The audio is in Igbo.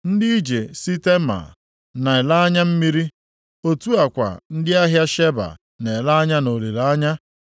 Ndị ije si Tema na-ele anya mmiri, otu a kwa ndị ahịa Sheba na-ele anya nʼolileanya.